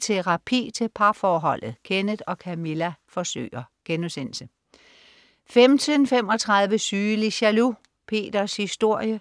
Terapi til parforholdet. Kenneth og Camilla forsøger* 15.35 Sygelig jaloux. Peters historie*